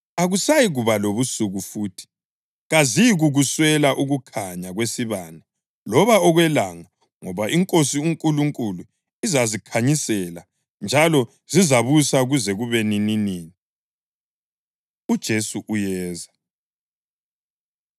Akusayikuba lobusuku futhi. Kaziyikukuswela ukukhanya kwesibane loba okwelanga ngoba iNkosi uNkulunkulu izazikhanyisela. Njalo zizabusa kuze kube nininini. UJesu Uyeza